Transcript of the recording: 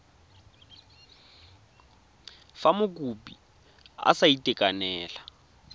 fa mokopi a sa itekanela